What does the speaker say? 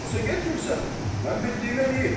Yoxsa getmirsən, mən bildiyim eləyim.